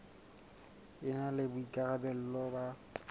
e na le boikarabelo ba